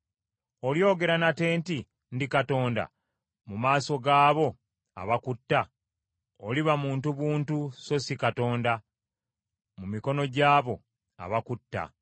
Olyogera nate nti, ‘Ndi katonda,’ mu maaso gaabo abakutta? Oliba muntu buntu so si katonda mu mikono gy’abo abakutta.